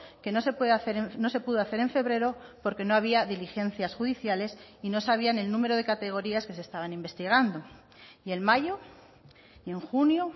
que no se puede hacer no se pudo hacer en febrero porque no había diligencias judiciales y no sabían el número de categorías que se estaban investigando y en mayo y en junio